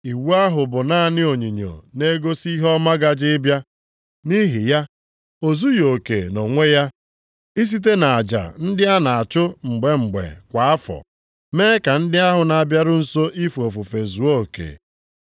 Iwu ahụ bụ naanị onyinyo na-egosi ihe ọma gaje ịbịa. Nʼihi ya, o zughị oke nʼonwe ya isite nʼaja ndị ahụ a na-achụ mgbe mgbe kwa afọ, mee ka ndị ahụ na-abịaru nso ife ofufe zuo oke.